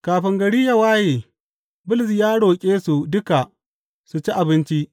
Kafin gari ya waye Bulus ya roƙe su duka su ci abinci.